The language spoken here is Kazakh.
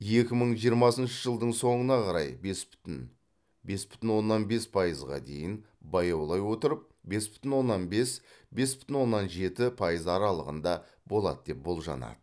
екі мың жиырмасыншы жылдың соңына қарай бес бүтін бес бүтін оннан бес пайызға дейін баяулай отырып бес бүтін оннан бес бес бүтін оннан жеті пайызға аралығында болады деп болжанады